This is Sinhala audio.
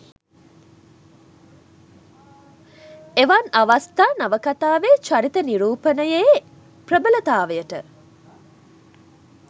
එවන් අවස්ථා නවකතාවේ චරිත නිරූපණයයේ ප්‍රබලතාවට